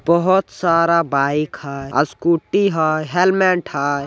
बहोत सारा बाइक हैय आ स्कूटी हैय हेलमेट हैय।